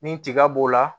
Ni tiga b'o la